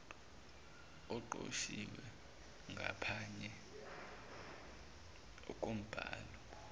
oqoshiwe ngaphanye kombhalo